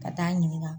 Ka taa ɲininka